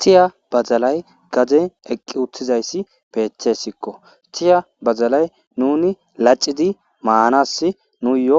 Tiya badalay grade giddon eqqi uththday bettesikko tiya badalay nuni lachchidi manas nuyo